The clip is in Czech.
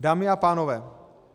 Dámy a pánové,